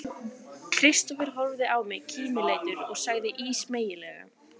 Kristófer horfði á mig kímileitur og sagði ísmeygilega